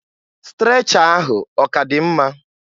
Strecha ahụ ọ k'adị mma?